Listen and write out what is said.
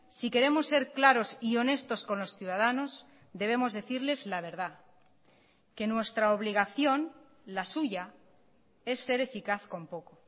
si queremos ser claros y honestos con los ciudadanos debemos decirles la verdad que nuestra obligación la suya es ser eficaz con poco